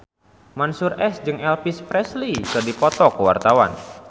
Mansyur S jeung Elvis Presley keur dipoto ku wartawan